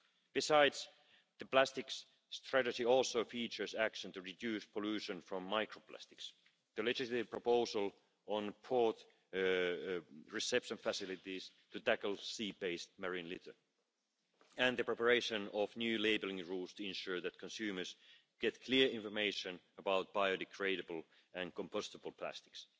Besides, the Plastics Strategy also features action to reduce pollution from microplastics, the legislative proposal on port reception facilities to tackle sea based marine litter and the preparation of new labelling rules to ensure that consumers get clear information about biodegradable and compostable plastics.